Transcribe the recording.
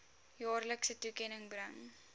jaarlikse toekenning bring